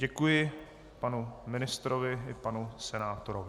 Děkuji panu ministrovi i panu senátorovi.